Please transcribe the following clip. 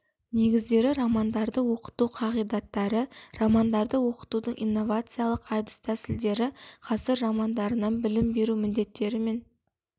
негіздері романдарды оқыту қағидаттары романдарды оқытудың инновациялық әдіс тәсілдері ғасыр романдарынан білім беру міндеттері мен